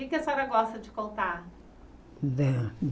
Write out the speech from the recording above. O que é que a senhora gosta de contar?